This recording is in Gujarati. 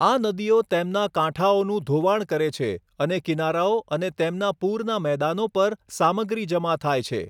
આ નદીઓ તેમના કાંઠાઓનું ધોવાણ કરે છે અને કિનારાઓ અને તેમનાં પૂરના મેદાનો પર સામગ્રી જમા થાય છે.